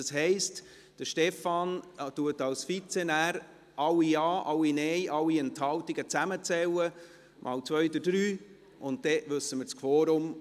Das heisst, der Vizepräsident Stefan Costa wird alle Ja-, alle Nein-Stimmen und alle Enthaltungen zusammenzählen – mal zwei, durch drei, und dann kennen wir das Quorum.